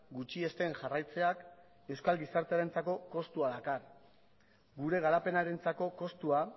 gutxiesten jarraitzeak euskal gizartearentzako kostua dakar gure garapenarentzako kostua